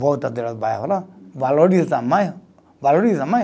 Volta do bairro lá, valoriza mais, valoriza mais.